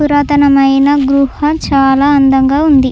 పురాతనమైన గుహ చాలా అందంగా ఉంది.